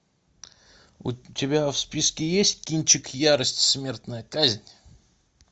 у тебя в списке есть кинчик ярость смертная казнь